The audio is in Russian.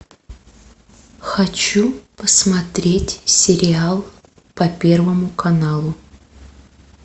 хочу посмотреть сериал по первому каналу